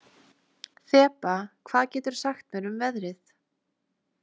Þeba, hvað geturðu sagt mér um veðrið?